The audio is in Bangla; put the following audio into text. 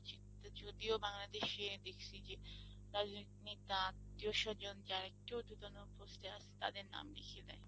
যদিও বাংলাদেশে দেখছি যে রাজনৈতিক নেতা আত্মীয় স্বজন যারা একটু উর্ধ্বতন post এ আছে তাদের নাম লিখে দেয়।